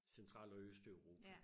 Central og Østeuropa